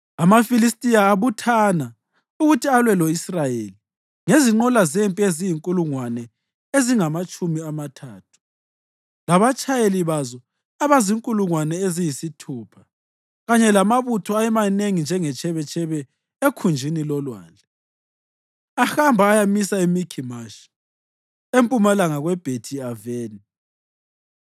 AmaFilistiya abuthana ukuthi alwe lo-Israyeli ngezinqola zempi eziyizinkulungwane ezingamatshumi amathathu, labatshayeli bazo abazinkulungwane eziyisithupha kanye lamabutho ayemanengi njengetshebetshebe ekhunjini lolwandle. Ahamba ayamisa eMikhimashi, empumalanga kweBhethi-Aveni.